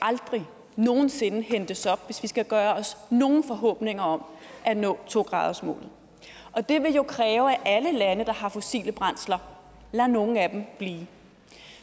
aldrig nogen sinde hentes op hvis vi skal gøre os nogen forhåbninger om at nå to gradersmålet og det vil jo kræve at alle lande der har fossile brændsler lader nogle af dem blive